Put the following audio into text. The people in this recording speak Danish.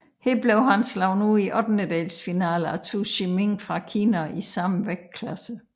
Her blev han slået ud i ottendelsfinalen af Zou Shiming fra Kina i samme vægtklasse